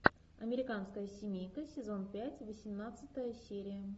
американская семейка сезон пять восемнадцатая серия